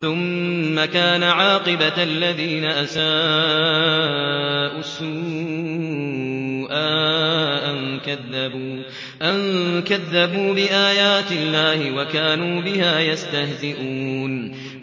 ثُمَّ كَانَ عَاقِبَةَ الَّذِينَ أَسَاءُوا السُّوأَىٰ أَن كَذَّبُوا بِآيَاتِ اللَّهِ وَكَانُوا بِهَا يَسْتَهْزِئُونَ